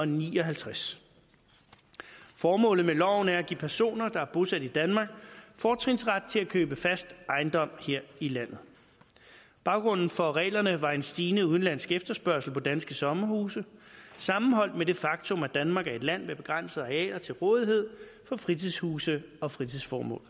ni og halvtreds formålet med loven er at give personer der er bosat i danmark fortrinsret til at købe fast ejendom her i landet baggrunden for reglerne var en stigende udenlandsk efterspørgsel på danske sommerhuse sammenholdt med det faktum at danmark er et land med begrænsede arealer til rådighed for fritidshuse og fritidsformål